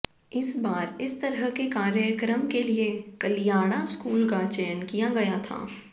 इस बार इस तरह के कार्यक्रम के लिए कलियाड़ा स्कूल का चयन किया गया था